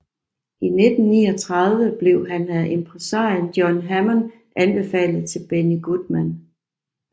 I 1939 blev han af impresarioen John Hammond anbefalet til Benny Goodman